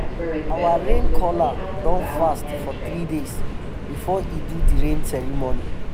our rain caller don fast for three days before e do the rain ceremony.